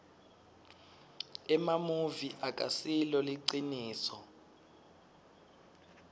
emamuvi akasilo liciniso